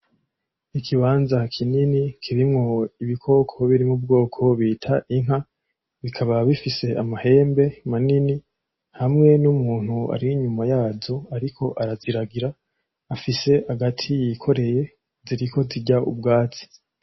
Ikibanza kinini kirimwo ibikoko birimwo ubwoko bita inka bikaba bifise amahembe manini hamwe n’umuntu ari inyuma yazo ariko araziragira afise agati yikoreye ziriko zirya ubwatsi.